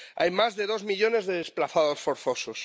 Hay más de dos millones de desplazados forzosos.